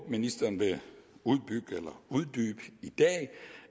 ministeren vil uddybe i dag